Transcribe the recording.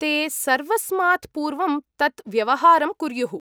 ते सर्वस्मात् पूर्वं तत् व्यवहारं कुर्युः।